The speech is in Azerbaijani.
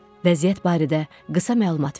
Vəziyyət barədə qısa məlumat verdi.